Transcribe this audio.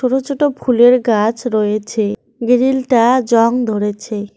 ছোটো ছোটো ফুলের গাছ রয়েছে গ্রিলটা জং ধরেছে।